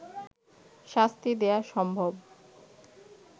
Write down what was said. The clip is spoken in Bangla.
শাস্তি দেয়া সম্ভব